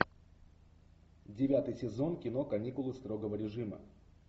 девятый сезон кино каникулы строгого режима